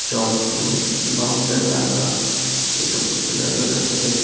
চক দিয়ে বাউন্ডারি আঁকা এসব কিছু দেখা যাচ্ছে।